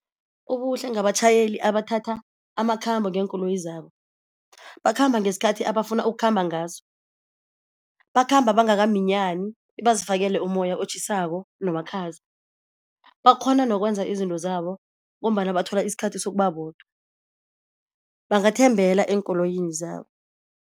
Ubuhle ngabatjhayeli abathatha amakhambo ngeenkoloyi zabo. Bakhamba ngesikhathi abafuna ukukhamba ngaso, bakhamba bangakaminyani bebazifakele umoya otjhisako nomakhaza. Bakghona nokwenza izinto zabo ngombana bathola isikhathi sokuba bodwa, bangathembela eenkoloyini zabo.